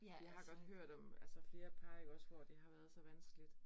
Jeg har godt hørt om altså flere par ikke også, hvor det har været så vanskeligt